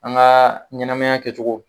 An ka ɲɛnamaya kɛcogo